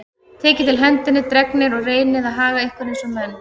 Takið til hendinni, drengir, og reynið að haga ykkur eins og menn.